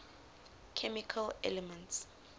chemical elements